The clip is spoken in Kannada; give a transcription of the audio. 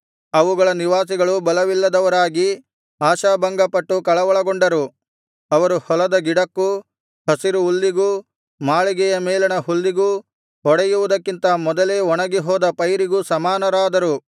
ಅವುಗಳ ನಿವಾಸಿಗಳು ಬಲವಿಲ್ಲದವರಾಗಿ ಆಶಾಭಂಗಪಟ್ಟು ಕಳವಳಗೊಂಡರು ಅವರು ಹೊಲದ ಗಿಡಕ್ಕೂ ಹಸಿರು ಹುಲ್ಲಿಗೂ ಮಾಳಿಗೆಯ ಮೇಲಣ ಹುಲ್ಲಿಗೂ ಹೊಡೆಯುವುದಕ್ಕಿಂತ ಮೊದಲೇ ಒಣಗಿ ಹೋದ ಪೈರಿಗೂ ಸಮಾನರಾದರು